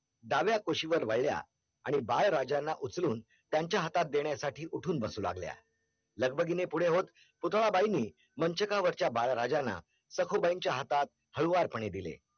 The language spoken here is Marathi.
दाविया कोशी वर वादिय आणि बाले राजनिय उचुं तियांचिया हाथ तेनुं उतुं बसली लगबगीने पुथडा बाईनि मंचकावरच्या बाळ राज्यांना सखू बाईच्या हातात हाडुवर पाने दिले